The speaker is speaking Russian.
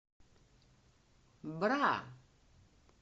бра